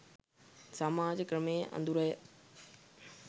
සමාජ ක්‍රමයේ අඳුරය.